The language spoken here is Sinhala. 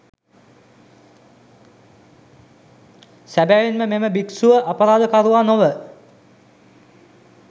සැබවින්ම මෙම භික්ෂුව අපරාධකරුවා නොව